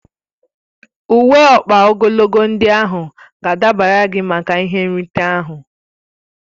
Uwe ọkpa ogologo ndị ahụ ga-adabara gị maka ihe nrite ahụ